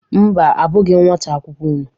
Mba, abụghị m nwata akwụkwọ unu.